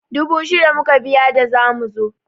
Dubu shida muka biya da zamu zo.